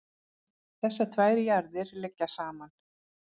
þessar tvær jarðir liggja saman